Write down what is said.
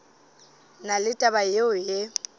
na le taba yeo e